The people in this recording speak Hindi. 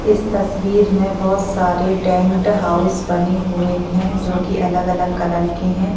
इस तस्वीर में बहुत सारे टेंट हाउस बने हुए हैं जो की अलग अलग कलर के हैं।